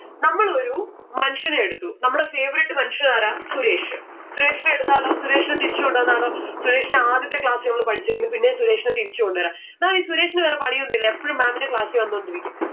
നമ്മൾ ഒരു മനുഷ്യനെ എടുത്തു നമ്മടെ favourite മനുഷ്യൻ ആരാ? സുരേഷ്. സുരേഷിനെ എടുത്താലോ? സുരേഷിനെ തിരിച്ച് കൊണ്ടുവന്നാലോ? സുരേഷിനെ ആദ്യത്തെ class ൽ നമ്മൾ പഠിച്ചതായിരുന്നു പിന്നേം സുരേഷിനെ തിരിച്ച് കൊണ്ട് വരാ. എന്നാല് ഈ സുരേഷിന് വേറെ പണിയൊന്നില്ലേ എപ്പോഴും ma'am ന്റെ class ഇ വന്നോണ്ടിരിക്കും.